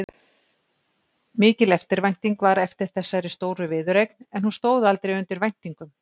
Mikil eftirvænting var eftir þessari stóru viðureign en hún stóð aldrei undir væntingum.